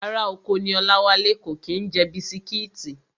Ará oko ní Ọláwálé, kò kí ń jẹ bisitíìtì